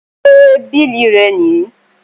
Ṣé bílì rẹ nìí?